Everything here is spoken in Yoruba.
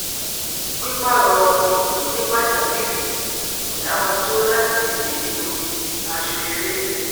pípààrọ ibùdó ní pàjáwìrì kò dá wọn dúró láti díje nínú odidi aṣọeré